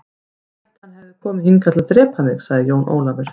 Ég hélt að hann hefði komið hingað til að drepa mig, sagði Jón Ólafur.